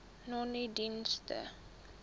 nonedienste